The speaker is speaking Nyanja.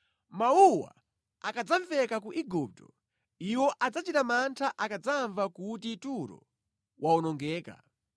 Mawuwa akadzamveka ku Igupto, iwo adzachita mantha akadzamva kuti Turo wawonongeka.